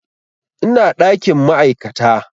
Ina ɗakin ma'aikata